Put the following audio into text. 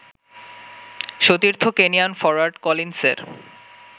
সতীর্থ Kenyan forward কলিনসের